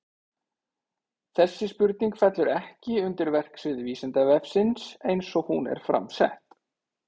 Þessi spurning fellur ekki undir verksvið Vísindavefsins eins og hún er fram sett.